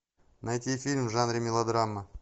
найти фильм в жанре мелодрама